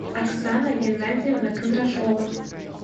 оксана геннадьевна кондрашова